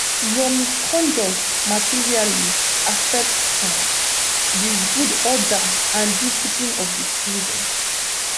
your misconduct materially affect um di good order and discipline of di prison